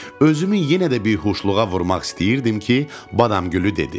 Özümü yenədə bihuşluğa vurmaq istəyirdim ki, Badamgülü dedi: